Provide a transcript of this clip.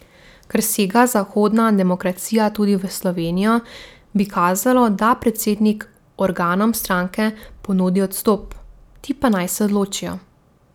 Ker sega zahodna demokracija tudi v Slovenijo, bi kazalo, da predsednik organom stranke ponudi odstop, ti pa naj se odločijo.